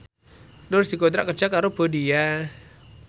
Nur dikontrak kerja karo Bonia